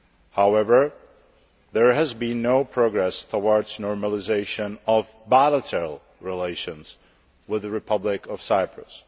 However, there has been no progress towards normalisation of bilateral relations with the Republic of Cyprus.